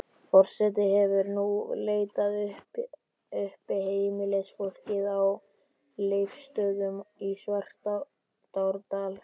Forseti hefur nú leitað uppi heimilisfólkið á Leifsstöðum í Svartárdal.